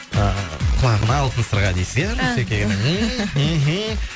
ы құлағына алтын сырға дейсіз иә нұсеке